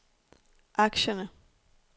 aktierne